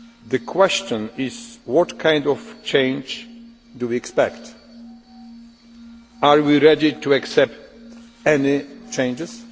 The question is what kind of change do we expect? Are we ready to accept any changes?